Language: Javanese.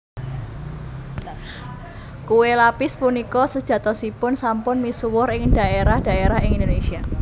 Kué lapis punika sejatosipun sampun misuwur ing dhaérah dhaérah ing Indonésia